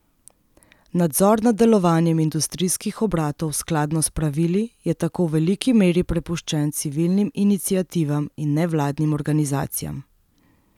Nadzor nad delovanjem industrijskih obratov skladno s pravili je tako v veliki meri prepuščen civilnim iniciativam in nevladnim organizacijam.